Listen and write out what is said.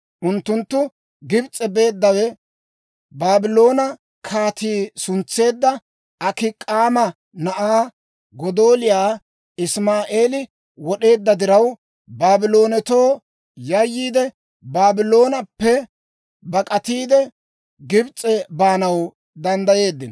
Unttunttu Gibs'e beeddawe Baabloona kaatii suntseedda Akik'aama na'aa Godooliyaa Isma'eelii wod'eedda diraw Baabloonatoo yayyiide Baabloonappe bak'atiide, Gibs'e baanaw danddayeeddino.